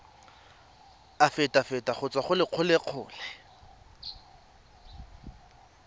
afitafiti go tswa go lelokolegolo